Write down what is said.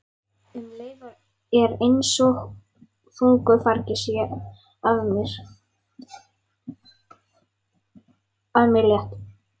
Um leið er einsog þungu fargi sé af mér létt.